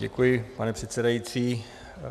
Děkuji, pane předsedající.